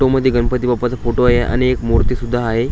तू मध्ये गणपती बाप्पाचा फोटो आहे आणि एक मूर्ती सुद्धा आहे.